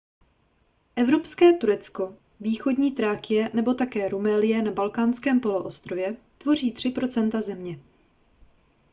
evropské turecko východní thrákie nebo také rumélie na balkánském poloostrově tvoří 3 % země